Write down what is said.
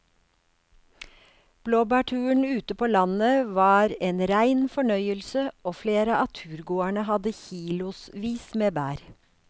Blåbærturen ute på landet var en rein fornøyelse og flere av turgåerene hadde kilosvis med bær.